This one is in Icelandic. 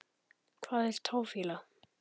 Hvað er táfýla?